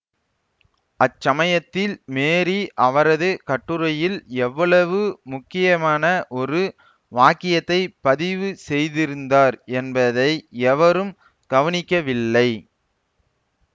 அச்சமயத்தில் மேரீ அவரது கட்டுரையில் எவ்வளவு முக்கியமான ஒரு வாக்கியத்தை பதிவு செய்திருந்தார் என்பதை எவரும் கவனிக்கவில்லை